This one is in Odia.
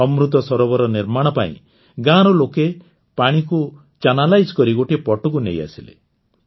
ଅମୃତ ସରୋବର ନିର୍ମାଣ ପାଇଁ ଗାଁର ଲୋକେ ପାଣିକୁ ଚାନାଲାଇଜ୍ କରି ଗୋଟିଏ ପଟକୁ ନେଇଆସିଲେ